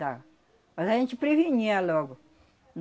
dá. Mas a gente prevenia logo.